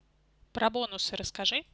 про бонусы расскажи